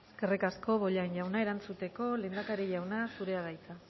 eskerrik asko eskerrik asko bollain jauna erantzuteko lehendakari jauna zurea da hitza